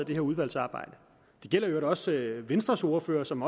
det her udvalgsarbejde det gælder i øvrigt også venstres ordfører som